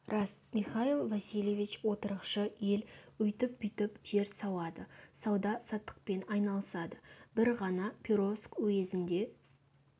рас михаил васильевич отырықшы ел өйтіп-бүйтіп жер сауады сауда-саттықпен айналысады бір ғана перовск уезінде